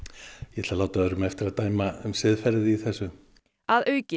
ég ætla að láta öðrum eftir að dæma siðferðið í þessu að auki